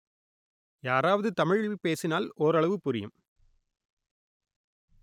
யாராவது தமிழில் பேசினால் ஓரளவு புரியும்